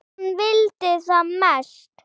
Hann vildi það mest.